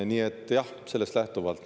Nii et jah, sellest lähtuvalt.